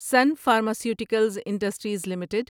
sun Pharmaceuticals Industries limited